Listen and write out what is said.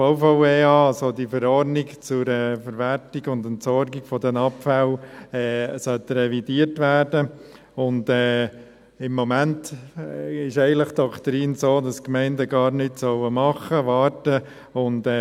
Die VVEA, also die Verordnung zur Verwertung und Entsorgung der Abfälle, soll revidiert werden, und im Moment ist eigentlich die Doktrin so, dass die Gemeinden gar nichts tun, sondern warten sollen.